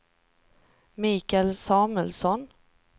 Mikael Samuelsson